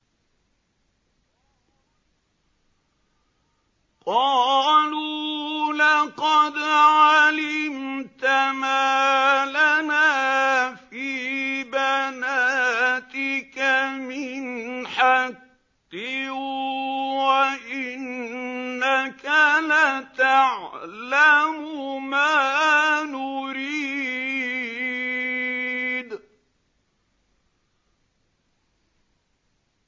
قَالُوا لَقَدْ عَلِمْتَ مَا لَنَا فِي بَنَاتِكَ مِنْ حَقٍّ وَإِنَّكَ لَتَعْلَمُ مَا نُرِيدُ